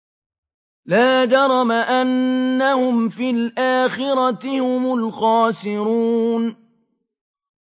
لَا جَرَمَ أَنَّهُمْ فِي الْآخِرَةِ هُمُ الْخَاسِرُونَ